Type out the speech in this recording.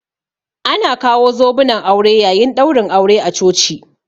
Ana kawo zobunan aure yayin ɗaurin aure a coci